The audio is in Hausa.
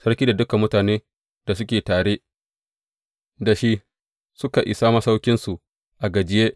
Sarki da dukan mutanen da suke tare da shi suka isa masauƙinsu a gajiye.